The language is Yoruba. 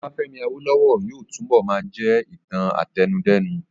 Ọbafẹ́mi Awólówọ̀ yóò túnbọ̀ máa jẹ́ ìtàn àtẹnudẹ́nu